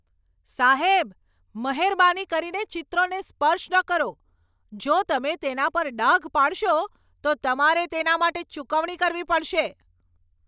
સાહેબ, મહેરબાની કરીને ચિત્રોને સ્પર્શ ન કરો! જો તમે તેના પર ડાઘ પાડશો તો તમારે તેના માટે ચૂકવણી કરવી પડશે.